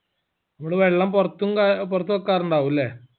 ഇവൾ വെള്ളം പൊർത്തും കാ പോർത്ത് വെക്കാറുണ്ടാവൂലെ